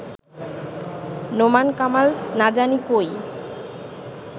নোমানকামাল না জানি কই